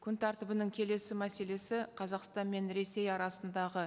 күн тәртібінің келесі мәселесі қазақстан мен ресей арасындағы